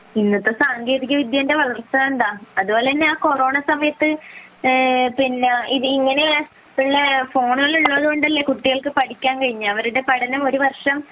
ഇന്നത്തെ സാങ്കേതിക വിദ്യയുടെ വളർച്ച കണ്ടോ . അതുപോലെ തന്നെ ആ കൊറോണ സമയത്തു ഇങ്ങനെയുള്ള ഫോണുകൾ ഉള്ളത് കൊണ്ടല്ലേ കുട്ടികൾക്ക് പഠിക്കാൻ കഴിഞ്ഞത് അവരുടെ പഠനം ഒരു വർഷം